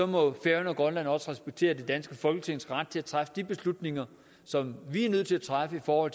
må færøerne og grønland også respektere det danske folketings ret til at træffe de beslutninger som vi er nødt til at træffe for